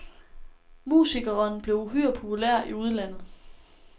Musikkeren blev uhyre populær i udlandet.